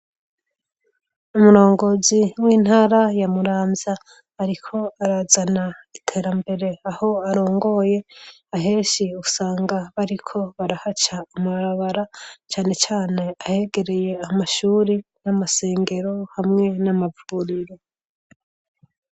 Umurongozi w'intara ya Muramvya, ariko arazana iterambere aho arongoye, ahenshi usanga bariko barahaca amarabara cane cane ahegereye amashuri n'amasengero hamwe n'amavuriro.